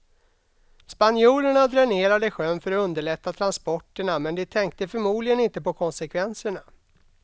Spanjorerna dränerade sjön för att underlätta transporterna men de tänkte förmodligen inte på konsekvenserna.